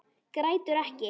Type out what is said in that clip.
Grætur ekki.